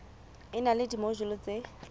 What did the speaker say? e na le dimojule tse